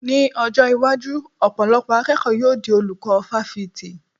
Ní ọjọ́ iwájú, ọ̀pọ̀lọpọ̀ akẹ́kọ̀ọ́ yóò di olùkọ́ fáfitì